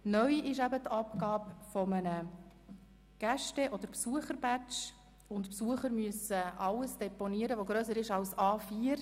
Neu ist die Abgabe eines Gäste- oder Besucher-Badges, und die Besucher müssen alles Gepäck deponieren, das grösser ist als das A4-Format.